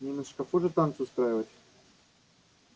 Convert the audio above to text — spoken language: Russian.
не на шкафу же танцы устраивать